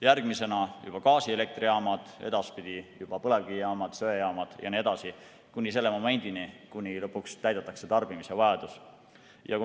Järgmisena juba gaasielektrijaamad, edaspidi juba põlevkivijaamad, söejaamad jne, kuni selle momendini, kui lõpuks täidetakse tarbimisvajadus.